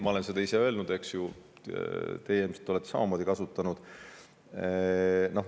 Ma olen seda ise öelnud ja teie ilmselt olete samamoodi kasutanud.